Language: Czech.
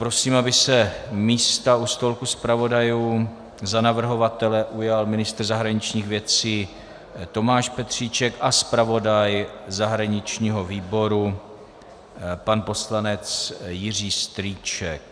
Prosím, aby se místa u stolku zpravodajů za navrhovatele ujal ministr zahraničních věcí Tomáš Petříček a zpravodaj zahraničního výboru pan poslanec Jiří Strýček.